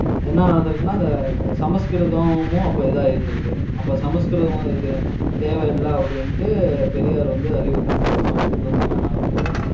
என்ன நடந்திருக்குன்னா, அந்த அஹ் அஹ் சமஸ்கிருதமும் அப்ப இதா இருந்திருக்கு. அப்ப சமஸ்கிருதமும் இது தேவையில்லை அப்படின்ட்டு பெரியார் வந்து அறிவித்திருக்காரு. சமஸ்கிருதமும் வேணாம் அப்படின்னுட்டு.